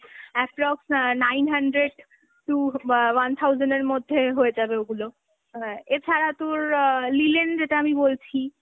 approx অ্যাঁ nine hundred to ও আ~ one thousand এর মধ্যে হয়ে যাবে ওগুলো, এছারা তোর অ্যাঁ linen যেটা আমি বলছি